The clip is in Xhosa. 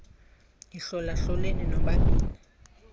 yihlola hloleni nobabini